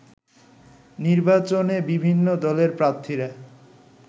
নির্বাচনে বিভিন্ন দলের প্রার্থীরা